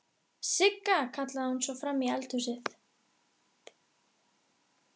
Sigga!, kallaði hún svo fram í eldhúsið.